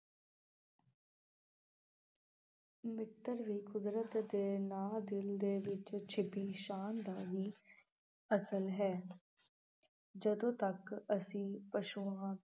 ਮਿੱਤਰ ਵੀ ਕੁਦਰਤ ਦੇ ਨਾ ਦਿਲ ਦੇ ਵਿੱਚ ਛੁੱਪੀ ਸ਼ਾਨ ਦਾ ਵੀ ਅਸਲ ਹੈ ਜਦੋਂ ਤੱਕ ਅਸੀਂ ਪਸੂਆਂ